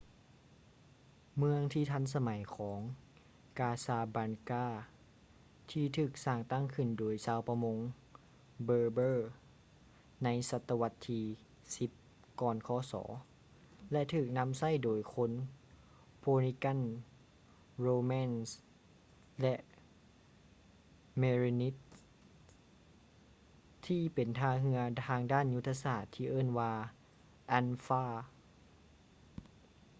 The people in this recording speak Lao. ເມືອງທີ່ທັນສະໄໝຂອງ casablanca ທີ່ຖືກສ້າງຕັ້ງຂຶ້ນໂດຍຊາວປະມົງ berber ໃນສະຕະວັດທີ 10 ກ່ອນຄ.ສ ແລະ ຖືກນຳໃຊ້ໂດຍຄົນ phoenicians romans ແລະ merenids ທີ່ເປັນທ່າເຮືອທາງດ້ານຍຸດທະສາດທີ່ເອີ້ນວ່າ anfa